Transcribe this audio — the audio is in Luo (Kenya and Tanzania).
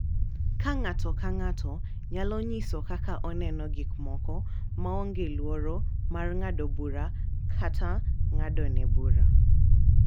Ka ng’ato ka ng’ato nyalo nyiso kaka oneno gik moko maonge luoro mar ng’ado bura kata ng’adone bura.